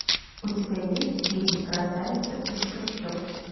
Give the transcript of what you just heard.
у тебя есть фильм красавица из трущоб